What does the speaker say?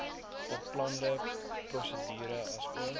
beplande prosedure asook